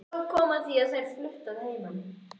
Svo kom að því að þær fluttu að heiman.